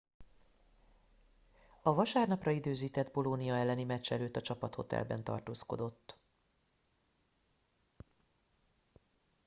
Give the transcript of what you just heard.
a vasárnapra időzített bolonia elleni meccs előtt a csapathotelben tartózkodott